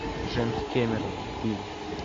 джеймс кэмерон фильм